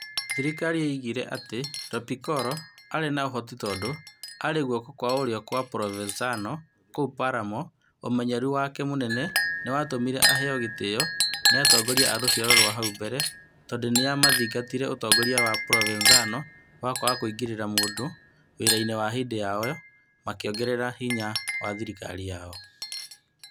Thirikaari yoigire atĩ Lo Piccolo aarĩ na ũhoti tondũ aarĩ guoko kwa ũrĩo kwa Provenzano kũu Palermo na ũmenyeru wake mũnene nĩ watũmire aheo gĩtĩo nĩ atongoria a rũciaro rũrĩa rũrakũrũ tondũ nĩ maathingatire ũtongoria wa Provenzano wa kwaga kũingĩra mũno wĩra-inĩ na hĩndĩ o ĩyo makĩongerera hinya wa thirikari yao.